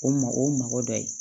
O ma o mɔgɔ dɔ ye